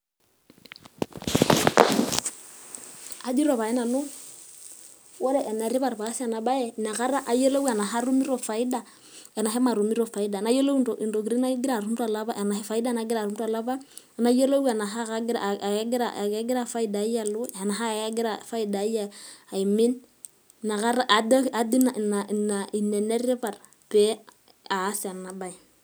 Ajito pae nanu ore enetipat paas ena baye inakata ayioloi ashu katumito faida ashu matumito faida. Nayiolou faida nagira atum to lapa, nayiolou tenakegira faida ai alo ashu kegira aimin. Ajo ina enetipat paas ena bae.